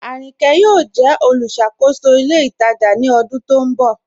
Aríńkè yọọ̀ jẹ olúṣàkòsó ilẹ̀ itajà ni ọdún tó nbọ